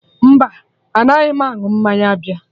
Mba, anaghị m aṅụ mmanya bịa